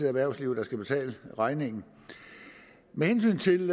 erhvervslivet der skal betale regningen med hensyn til